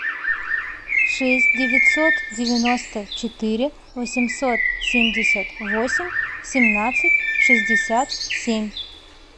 шесть девятьсот девяносто четыре восемьсот семьдесят восемь семнадцать шестьдесят семь